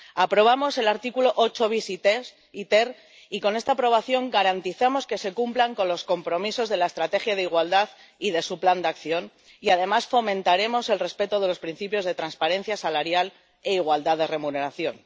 Aprobamos los apartados 8 bis y ter, y con esta aprobación garantizamos que se cumplan los compromisos de la estrategia de igualdad y de su plan de acción y, además, fomentaremos el respeto de los principios de transparencia salarial e igualdad de remuneración.